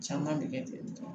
Caman bɛ kɛ